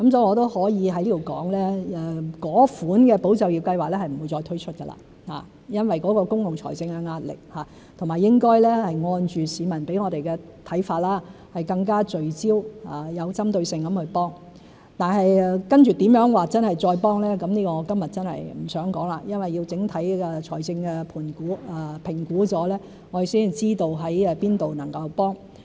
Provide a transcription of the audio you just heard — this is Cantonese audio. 我也可以在此說明，因為公共財政的壓力，那一類"保就業"計劃是不會再推出，應該按着市民給我們的看法，更聚焦和有針對性地去提供支援；但接着如何再支援，這個我今天真的不想說，因為要評估整體財政狀況，我們才知道在哪方面能支援。